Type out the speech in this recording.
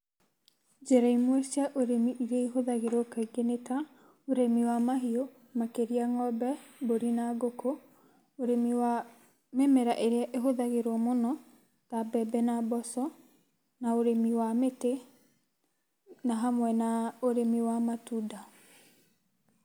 Njĩra imwe cia ũrĩmi iria ihũthagĩrwo kaingĩ nĩ ta, ũrĩmi wa mahiũ makĩria ng'ombe, mburi na ngũkũ, ũrĩmi wa mĩmera ĩrĩa ĩhũthagĩrwo mũno ta mbembe na mboco na ũrĩmi wa mĩtĩ na hamwe na ũrĩmi wa matunda.